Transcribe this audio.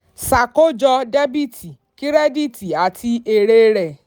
ṣàkójọ dẹ́bìtì kírẹ́díìtì àti èrè rẹ̀.